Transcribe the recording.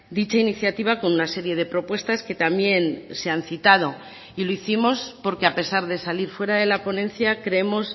dicha iniciativa con una serie de propuestas que también se han citado y lo hicimos porque a pesar de salir fuera de la ponencia creemos